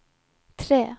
tre